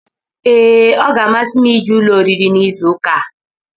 Ee ọ gá-amasi m ije ụlọ oriri n'izu ụka a